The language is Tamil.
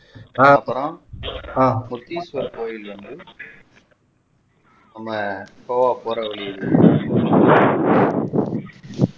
அதுக்கப்புறம் முத்தீசுவரர் கோயில் வந்து நம்ம கோவா போற வழில